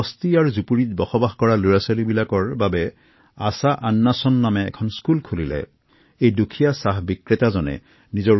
বস্তি অঞ্চলৰ শিশুসকলৰ শিক্ষাৰ বাবে তেওঁ উপাৰ্জনৰ ৫০ ব্যয় কৰি আশা আশভাসন নামৰ এখন পঢ়াশালি মুকলি কৰে